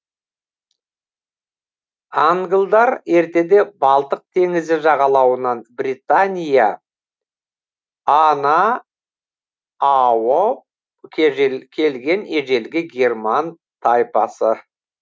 англдар ертеде балтық теңізі жағалауынан британия а на ауып келген ежелгі герман тайпасы